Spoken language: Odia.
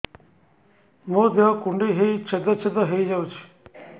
ମୋ ଦେହ କୁଣ୍ଡେଇ ହେଇ ଛେଦ ଛେଦ ହେଇ ଯାଉଛି